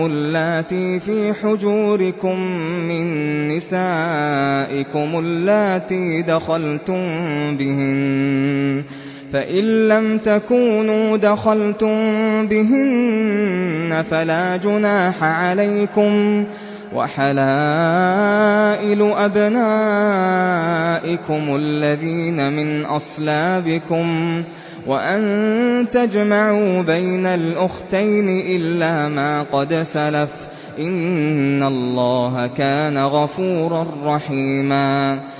اللَّاتِي فِي حُجُورِكُم مِّن نِّسَائِكُمُ اللَّاتِي دَخَلْتُم بِهِنَّ فَإِن لَّمْ تَكُونُوا دَخَلْتُم بِهِنَّ فَلَا جُنَاحَ عَلَيْكُمْ وَحَلَائِلُ أَبْنَائِكُمُ الَّذِينَ مِنْ أَصْلَابِكُمْ وَأَن تَجْمَعُوا بَيْنَ الْأُخْتَيْنِ إِلَّا مَا قَدْ سَلَفَ ۗ إِنَّ اللَّهَ كَانَ غَفُورًا رَّحِيمًا